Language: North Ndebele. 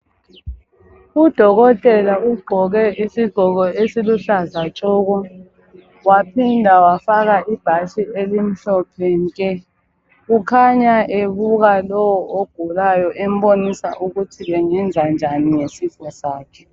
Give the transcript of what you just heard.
Udokotela ugqoke isigqoko esiluhlaza tshoko, waphinda wafaka ibhatshi elimhlophe nke, ukhanya ebuka lowo ogulayo embonisa ukuthi bengenza njani ngesifo sakhe.